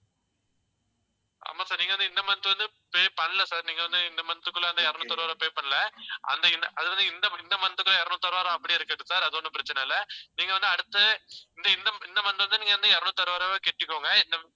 ஆமா sir நீங்க வந்து இந்த month வந்து pay பண்ணல sir நீங்க வந்து இந்த month க்குள்ள அந்த இருநூத்தி அறுபது ரூபாய் pay பண்ணல. அந்த இந்த அது வந்து இந்த இந்த month க்கும் இருநூத்தி அறுபது ரூபா அப்படியே இருக்கட்டும் sir அது ஒண்ணும் பிரச்சனை இல்ல. நீங்க வந்து அடுத்து இந்த இந்த இந்த month வந்து நீங்க வந்து இருநூத்தி அறுபது ரூபாய் கட்டிக்கோங்க.